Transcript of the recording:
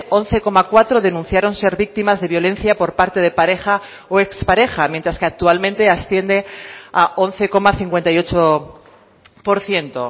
once coma cuatro denunciaron ser víctimas de violencia por parte de pareja o expareja mientras que actualmente asciende a once coma cincuenta y ocho por ciento